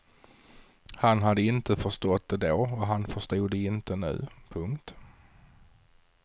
Han hade inte förstått det då och han förstod det inte nu. punkt